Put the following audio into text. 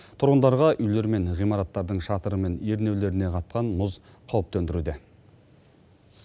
тұрғындарға үйлер мен ғимараттардың шатыры мен ернеулеріне қатқан мұз қауіп төндіруде